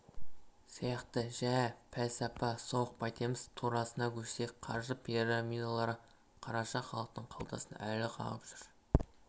сияқты жә пәлсапа соғып қайтеміз турасына көшсек қаржы пирамидалары қараша халықтың қалтасын әлі қағып жүр